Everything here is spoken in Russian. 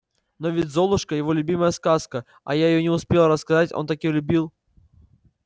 но ведь золушка его любимая сказка а я её не успела рассказать он так её любил